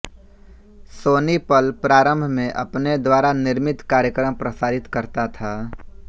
सोनी पल प्रारम्भ में अपने द्वारा निर्मित कार्यक्रम प्रसारित करता था